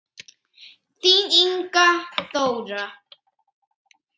Þín Inga Þóra.